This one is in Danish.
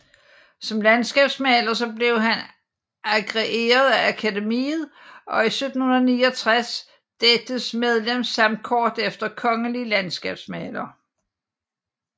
Som landskabsmaler blev han agreeret af Akademiet og 1769 dettes medlem samt kort efter kongelig landskabsmaler